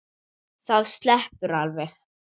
Það sleppur alveg.